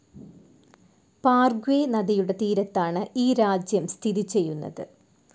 പാർഗ്വെ നദിയുടെ തീരത്താണ് ഈ രാജ്യം സ്ഥിതി ചെയ്യുന്നത്.